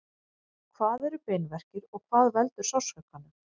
hvað eru beinverkir og hvað veldur sársaukanum